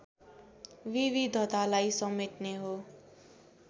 विविधतालाई समेट्ने हो